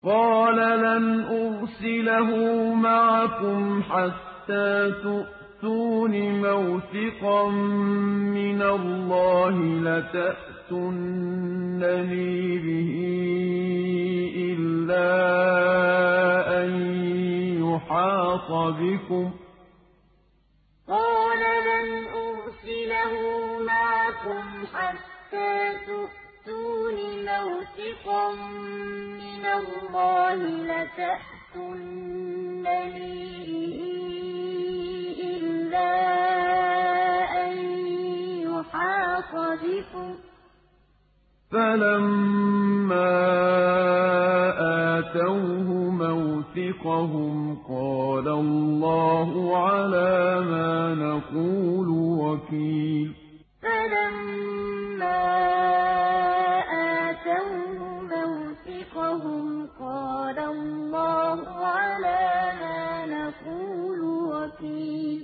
قَالَ لَنْ أُرْسِلَهُ مَعَكُمْ حَتَّىٰ تُؤْتُونِ مَوْثِقًا مِّنَ اللَّهِ لَتَأْتُنَّنِي بِهِ إِلَّا أَن يُحَاطَ بِكُمْ ۖ فَلَمَّا آتَوْهُ مَوْثِقَهُمْ قَالَ اللَّهُ عَلَىٰ مَا نَقُولُ وَكِيلٌ قَالَ لَنْ أُرْسِلَهُ مَعَكُمْ حَتَّىٰ تُؤْتُونِ مَوْثِقًا مِّنَ اللَّهِ لَتَأْتُنَّنِي بِهِ إِلَّا أَن يُحَاطَ بِكُمْ ۖ فَلَمَّا آتَوْهُ مَوْثِقَهُمْ قَالَ اللَّهُ عَلَىٰ مَا نَقُولُ وَكِيلٌ